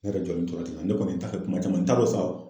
Ne yɛrɛ jɔlen tora ten ne kɔni ta ye kuma caman n t'a be fa.